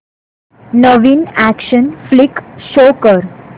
नवीन action flick show कर